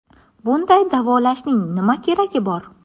Bunday davolashning nima keragi bor?